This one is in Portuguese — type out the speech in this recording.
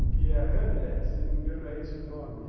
O que é Hamlet, se não me engano é esse o nome.